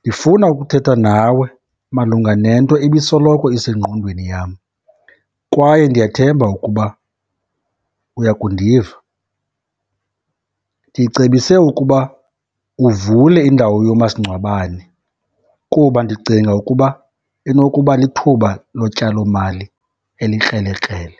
Ndifuna ukuthetha nawe malunga nento ebisoloko isengqondweni yam kwaye ndiyathemba ukuba uya kundiva. Ndicebise ukuba uvule indawo yomasingcwabane kuba ndicinga ukuba inokuba lithuba lotyalomali elikrelekrele.